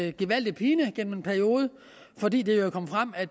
en gevaldig pine gennem en periode fordi det jo kom frem at